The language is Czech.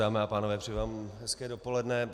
Dámy a pánové, přeji vám hezké dopoledne.